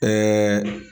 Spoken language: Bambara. Ɛɛ